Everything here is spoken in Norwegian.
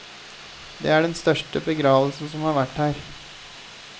Det er den største begravelsen som har vært her.